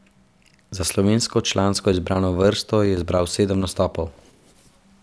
Za slovensko člansko izbrano vrsto je zbral sedem nastopov.